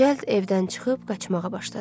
Cəld evdən çıxıb qaçmağa başladı.